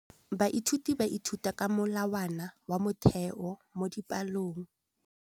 Baithuti ba ithuta ka molawana wa motheo mo dipalong.